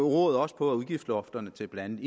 råd også på at udgiftslofterne til blandt